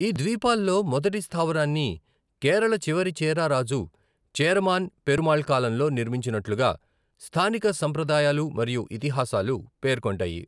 ఈ ద్వీపాల్లో మొదటి స్థావరాన్ని కేరళ చివరి చేరా రాజు చేరమాన్ పెరుమాళ్ కాలంలో నిర్మించినట్లుగా స్థానిక సంప్రదాయాలు మరియు ఇతిహాసాలు పేర్కొంటాయి.